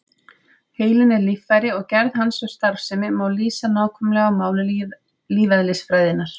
Heilinn er líffæri og gerð hans og starfsemi má lýsa nákvæmlega á máli lífeðlisfræðinnar.